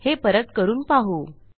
हे परत करून पाहू